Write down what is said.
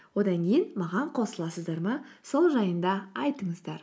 одан кейін маған қосыласыздар ма сол жайында айтыңыздар